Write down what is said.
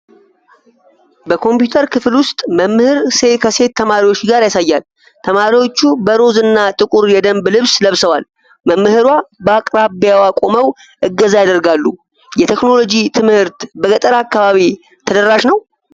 በኮምፒውተር ክፍል ውስጥ መምህር ከሴት ተማሪዎች ጋር ያሳያል። ተማሪዎቹ በሮዝ እና ጥቁር የደንብ ልብስ ለብሰዋል። መምህሯ በአቅራቢያ ቆመው እገዛ ያደርጋሉ። የቴክኖሎጂ ትምህርት በገጠር አካባቢ ተደራሽ ነው?